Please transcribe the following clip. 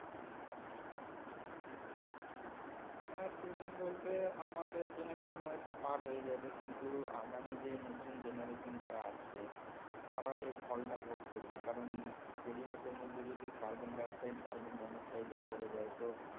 হ্যা সে দিন বলতে আমাদের generation হয়তো পার হয়ে যাবে কিন্তু আগামী যে নতুন generation যারা আসছে তারা এর ফল টা ভোগ করবে কারণ পরিবেশের মধ্যে যদি carbon dioxide carbon monoxide ভরে যায় তো